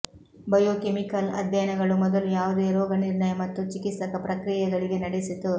biochemical ಅಧ್ಯಯನಗಳು ಮೊದಲು ಯಾವುದೇ ರೋಗನಿರ್ಣಯ ಮತ್ತು ಚಿಕಿತ್ಸಕ ಪ್ರಕ್ರಿಯೆಗಳಿಗೆ ನಡೆಸಿತು